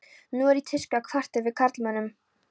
Nú er í tísku að kvarta yfir karlmönnum.